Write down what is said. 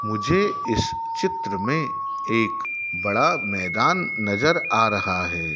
मुझे इस चित्र में एक बड़ा मैदान नजर आ रहा है।